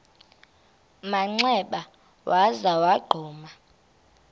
manxeba waza wagquma